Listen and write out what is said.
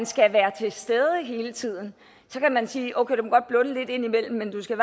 skal være til stede hele tiden så kan man sige okay du må godt blunde lidt indimellem men du skal